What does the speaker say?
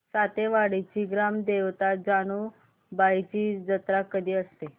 सातेवाडीची ग्राम देवता जानुबाईची जत्रा कधी असते